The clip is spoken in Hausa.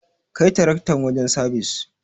Kai taraktar wajen sabis.